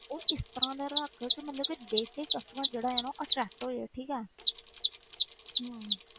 ਉਹ ਇਸ ਤਰ੍ਹਾਂ ਦਾ ਰੱਖ ਕਿ ਮਤਲਬ ਕਿ ਦੇਖ ਕੇ ਹੀ customer ਜਿਹੜਾ ਆ ਨਾ ਉਹ attract ਹੋ ਜਾਏ ਠੀਕ ਹੈ ਹਮ